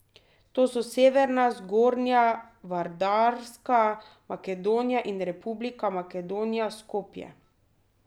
To so Severna, Zgornja, Vardarska Makedonija in Republika Makedonija Skopje.